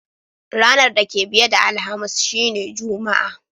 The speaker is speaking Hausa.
Ranan da ke biye da Alhamis shine Juma'a.